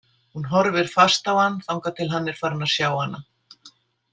Hún horfir fast á hann þangað til hann er farinn að sjá hana.